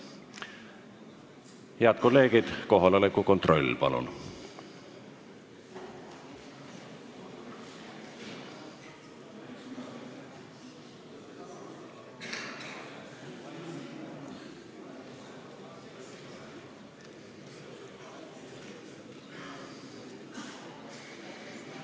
Head kolleegid, kohaloleku kontroll, palun!